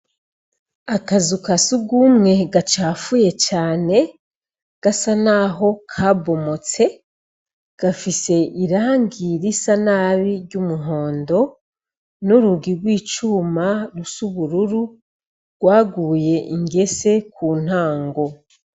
Akazu ka sugumwe gacafuye cane gasa naho kabomotse gafise irangi risanabi ry'umuhondo n'urugi gw'icuma rusa ubururu gwaguye ingese kuntango.